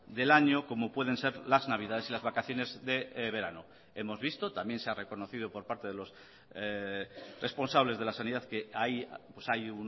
del año como pueden ser las navidades y las vacaciones de verano hemos visto también se ha reconocido por parte de los responsables de la sanidad que hay